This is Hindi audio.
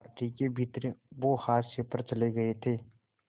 पार्टी के भीतर वो हाशिए पर चले गए थे